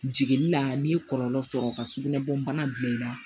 Jigini la n'i ye kɔlɔlɔ sɔrɔ ka sugunɛ bɔna bila i la